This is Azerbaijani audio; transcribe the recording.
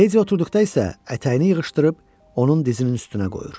Ledi oturduqda isə ətəyini yığışdırıb onun dizinin üstünə qoyur.